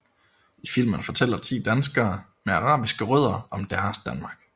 I filmen fortæller 10 danskere med arabiske rødder om deres Danmark